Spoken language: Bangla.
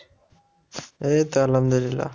এইতো আলহামদুলিল্লাহ।